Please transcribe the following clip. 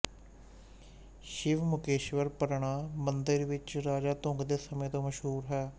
ਸ਼ਿਵ ਮੁਕੇਸ਼ਵਰ ਪ੍ਰਣਾ ਮੰਦਰ ਵਿੱਚ ਰਾਜਾ ਧੰਗ ਦੇ ਸਮੇਂ ਤੋਂ ਮਸ਼ਹੂਰ ਹੈ